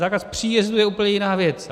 Zákaz příjezdu je úplně jiná věc.